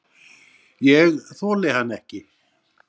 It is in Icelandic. Ég þoli hann ekki.